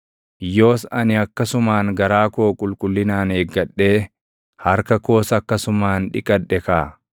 Yoos ani akkasumaan garaa koo qulqullinaan eeggadhee harka koos akkasumaan dhiqadhe kaa!